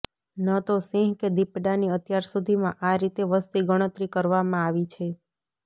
ન તો સિંહ કે દીપડાની અત્યાર સુધીમાં આ રીતે વસ્તી ગણતરી કરવામાં આવી છે